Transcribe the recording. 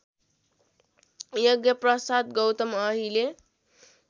यज्ञप्रसाद गौतम अहिले